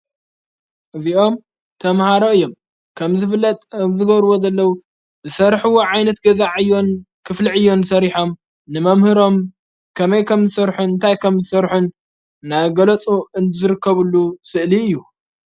እዚኦም ተምሃሮ እዮም ከም ዝብለጥ ኣብ ዝጐርዎ ዘለዉ ዝሠርሕዎ ዓይነት ገዛዕ እዮን ክፍሊ ዕዮን ሰሪሖም ንመምህሮም ከመይ ከም ዝሠርሑን እንታይ ከም ዝሠርሑን ናገለፁ እዝርከብሉ ስእሊ እዩ።